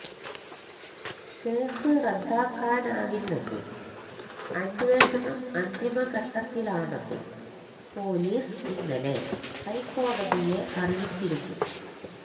case റദ്ദാക്കാനാവില്ലെന്നും അന്വേഷണം അന്തിമഘട്ടത്തിലാണെന്നും പോലീസ് ഇന്നലെ ഹൈക്കോടതിയെ അറിയിച്ചിരുന്നു